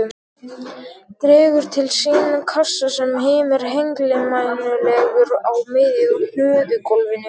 Dregur til sín kassa sem hímir hengilmænulegur á miðju hlöðugólfinu.